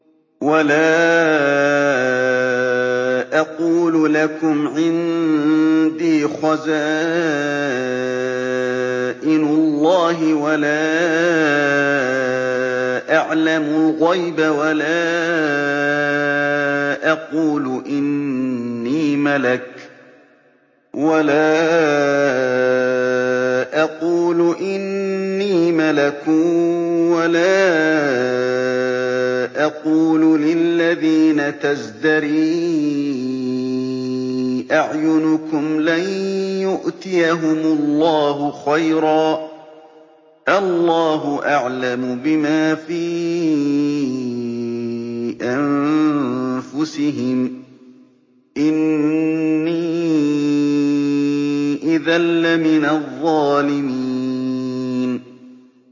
وَلَا أَقُولُ لَكُمْ عِندِي خَزَائِنُ اللَّهِ وَلَا أَعْلَمُ الْغَيْبَ وَلَا أَقُولُ إِنِّي مَلَكٌ وَلَا أَقُولُ لِلَّذِينَ تَزْدَرِي أَعْيُنُكُمْ لَن يُؤْتِيَهُمُ اللَّهُ خَيْرًا ۖ اللَّهُ أَعْلَمُ بِمَا فِي أَنفُسِهِمْ ۖ إِنِّي إِذًا لَّمِنَ الظَّالِمِينَ